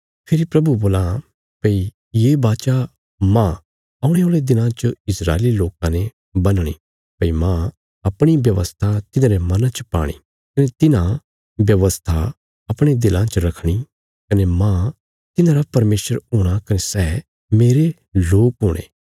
फेरी प्रभु बोलां भई ये वाचा मांह औणे औल़े दिनां च इस्राएली लोकां ने बन्हणी भई मांह अपणी व्यवस्था तिन्हांरे मना च पाणी कने तिन्हां व्यवस्था अपणे दिलां च रखणी कने मांह तिन्हांरा परमेशर हूणा कने सै मेरे लोक हुणे